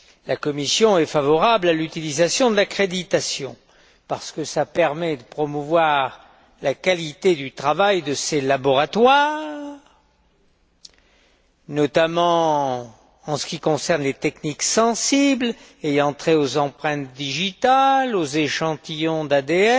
La Commission est favorable à l'utilisation de l'accréditation parce que cela permet de promouvoir la qualité du travail de ces laboratoires, notamment en ce qui concerne les techniques sensibles ayant trait aux empreintes digitales, aux échantillons d'ADN.